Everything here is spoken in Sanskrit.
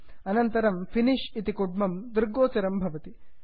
अनन्तरं फिनिश फिनिष् कुड्मं दृग्गोचरं भवति